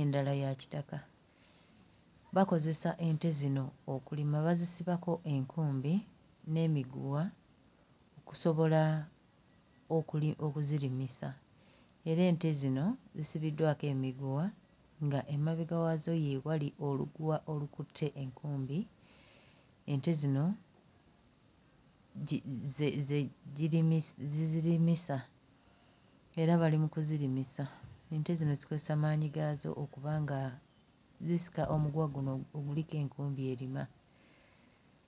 endala ya kitaka, bakozesa ente zino okulima bazisibako enkumbi n'emiguwa okusobola okuli okuzirimisa era ente zino zisibiddwako emiguwa nga emabega waazo ye wali oluguwa olukutte enkumbi ente zino gi gye ze ze gye zirimi zirimisa era bali mu kuzirimisa ente zino zikozesa maanyi gaazo okuba nga zisika omuguwa guno oguliko enkumbi erima.